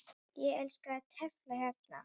Ég elska að tefla hérna.